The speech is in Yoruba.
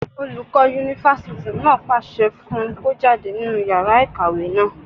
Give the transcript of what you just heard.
Olùkọ́ yunifásítì náà pàṣẹ fún un kó jáde nínú yàrá ìkàwé náà